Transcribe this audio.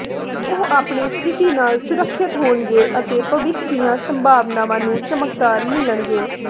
ਉਹ ਆਪਣੀ ਸਥਿਤੀ ਨਾਲ ਸੁਰੱਖਿਅਤ ਹੋਣਗੇ ਅਤੇ ਭਵਿੱਖ ਦੀਆਂ ਸੰਭਾਵਨਾਵਾਂ ਨੂੰ ਚਮਕਦਾਰ ਮਿਲਣਗੇ